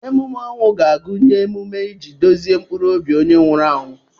Emume ọnwụ ga-agụnye emume iji duzie mkpụrụ obi onye nwụrụ anwụ.